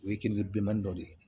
O ye kiliyan bilemanidɔ de ye